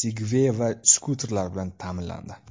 Sigway va skuter bilan ta’minlandi.